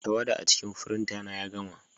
Tawada a cikin firinta ya gama.